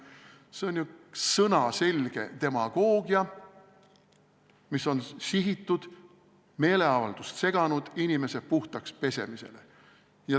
See on ju sõnaselge demagoogia, mis on sihitud meeleavaldust seganud inimese puhtaks pesemisele.